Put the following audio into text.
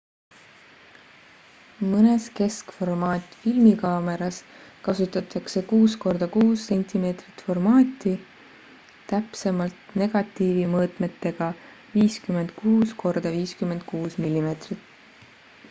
mõnes keskformaat filmikaameras kasutatakse 6 korda 6 cm formaati täpsemalt negatiivi mõõtmetega 56 korda 56 mm